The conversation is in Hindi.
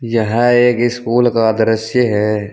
यह एक स्कूल का दृश्य है।